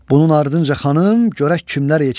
Bunun ardınca xanım, görək kimlər yetişdi.